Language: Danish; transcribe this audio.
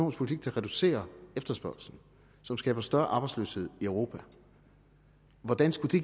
en politik der reducerer efterspørgslen som skaber større arbejdsløshed i europa hvordan skulle det